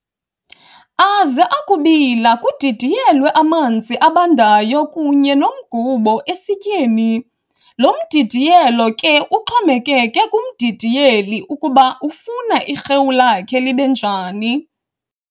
Aze akubila kudidiyelwe amanzi abandayo kunye nomgubo esityeni, lo mdidiyelo ke uxhomekeke kumdidiyeli ukuba ufuna irhewu lakhe libe njani.